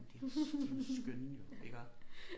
Men de jo de jo skønne jo iggå